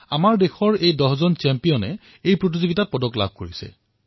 আমাৰ দেশৰ এই দহগৰাকী চেম্পিয়নে এই ক্ৰীড়াত মেডেল লাভ কৰিছে